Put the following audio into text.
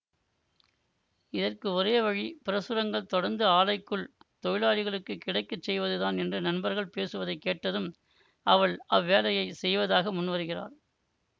இதற்கு ஒரேவழி பிரசுரங்கள் தொடர்ந்து ஆலைக்குள் தொழிலாளிகளுக்குக் கிடைக்க செய்வதுதான் என்று நண்பர்கள் பேசுவதை கேட்டதும் அவள் அவ்வேலையை செய்வதாக முன்வருகிறாள்